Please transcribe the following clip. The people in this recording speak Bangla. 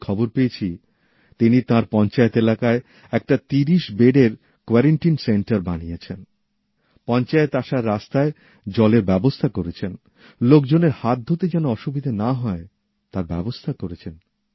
আমি খবর পেয়েছি তিনি তাঁর পঞ্চায়েত এলাকায় একটা ত্রিশ বেডের কোয়ারেন্টাইন সেন্টার বানিয়েছেন পঞ্চায়েত অফিসে আসার রাস্তায় জলের ব্যবস্থা করেছেন লোকজনের হাত ধুতে যেন অসুবিধে না হয় তার ব্যবস্থা করেছেন